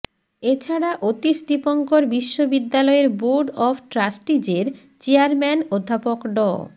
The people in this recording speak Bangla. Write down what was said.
এছাড়া অতীশ দীপঙ্কর বিশ্ববিদ্যালয়ের বোর্ড অব ট্রাস্টিজের চেয়ারম্যান অধ্যাপক ড